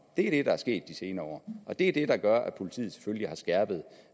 det er det der er sket de senere år og det er det der gør at politiet selvfølgelig har skærpet